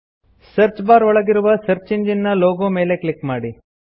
search bar ಒಳಗಿರುವ search engine ನ logo ಮೇಲೆ ಕ್ಲಿಕ್ ಮಾಡಿ